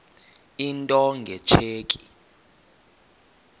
into nge tsheki